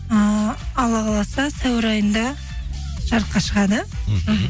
ыыы алла қаласа сәуір айында жарыққа шығады мхм